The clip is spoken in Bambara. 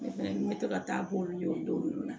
Ne fɛnɛ n bɛ to ka taa k'olu ye o don nunnu na